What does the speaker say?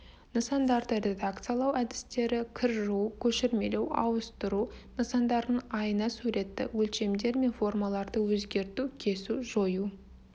нысандарды редакциялау әдістері кір жуу көшірмелеу ауыстыру нысандардың айна суреті өлшемдер мен формаларды өзгерту кесу жою